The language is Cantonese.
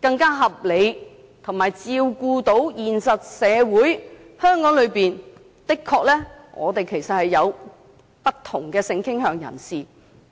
更加合理，以及照顧現實社會的需要——香港的確有不同性傾向人士。